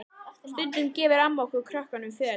Stundum gefur amma okkur krökkunum föt.